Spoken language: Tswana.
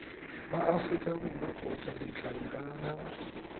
wa aforika borwa kgotsa ditlankana